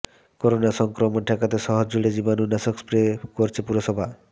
corona সংক্রমণ ঠেকাতে শহর জুড়ে জীবাণুনাশক স্প্রে করছে পুরসভা